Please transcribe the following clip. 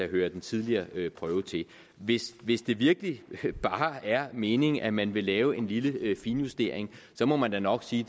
hører den tidligere prøve til hvis hvis det virkelig bare er meningen at man vil lave en lille finjustering må man da nok sige